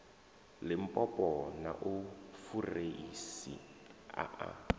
limpopo na fureisi a a